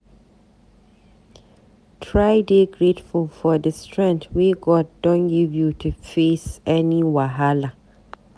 Try dey grateful for di strength wey God don give you to face any wahala.